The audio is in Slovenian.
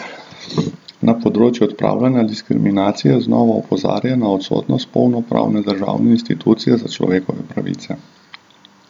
Na področju odpravljanja diskriminacije znova opozarja na odsotnost polnopravne državne institucije za človekove pravice.